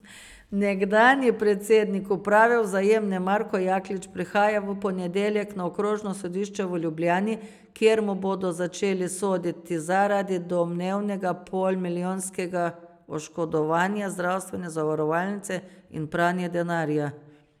Nekdanji predsednik uprave Vzajemne Marko Jaklič prihaja v ponedeljek na okrožno sodišče v Ljubljani, kjer mu bodo začeli soditi zaradi domnevnega polmilijonskega oškodovanja zdravstvene zavarovalnice in pranja denarja.